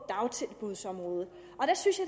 dagtilbudsområdet og jeg synes